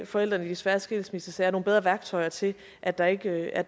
forældrene i de svære skilsmissesager nogle bedre værktøjer til at der ikke er